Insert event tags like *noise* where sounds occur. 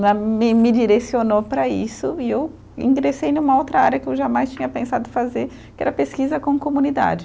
*unintelligible* Me me direcionou para isso e eu ingressei numa outra área que eu jamais tinha pensado fazer, que era pesquisa com comunidade.